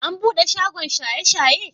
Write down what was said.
An bude shagon shaye-shaye?